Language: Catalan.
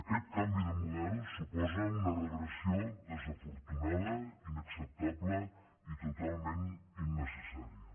aquest canvi de model suposa una regressió desafortunada inacceptable i totalment innecessària